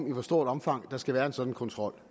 i hvor stort omfang der skal være en sådan kontrol